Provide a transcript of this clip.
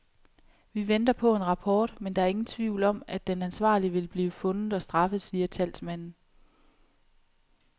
Vi venter på en rapport, men der er ingen tvivl om, at den ansvarlige vil blive fundet og straffet, siger talsmanden.